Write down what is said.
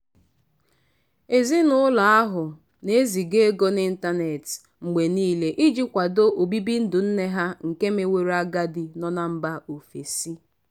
ezinụlọ ahụ na-eziga ego n'ịntanet mgbe niile iji kwado obibi ndụ nne ha nke meworo agadi nọ na mba ofesi.